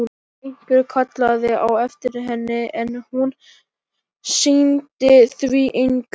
Einhver kallaði á eftir henni, en hún sinnti því engu.